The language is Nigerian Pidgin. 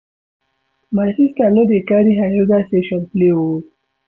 My sista no dey carry her yoga session play o.